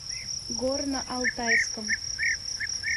горно алтайском